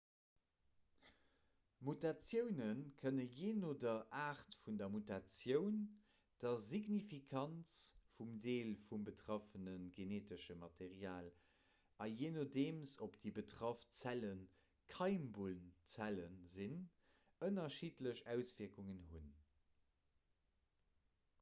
mutatioune kënne jee no der aart vun der mutatioun der signifikanz vum deel vum betraffene geneetesche material a jee nodeem ob déi betraff zelle keimbunnzelle sinn ënnerschiddlech auswierkungen hunn